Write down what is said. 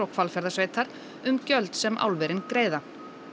Hvalfjarðarsveitar um gjöld sem álverin greiða